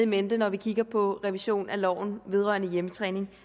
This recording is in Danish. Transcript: mente når vi kigger på revision af loven vedrørende hjemmetræning